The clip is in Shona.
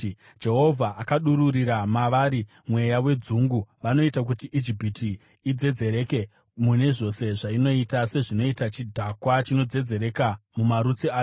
Jehovha akadururira mavari mweya wedzungu; vanoita kuti Ijipiti idzedzereke mune zvose zvainoita, sezvinoita chidhakwa chinodzedzereka mumarutsi acho.